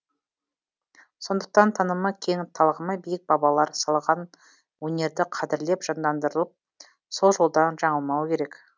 сондықтан танымы кең талғамы биік бабалар салған өнерді қадірлеп жандандырып сол жолдан жаңылмау керек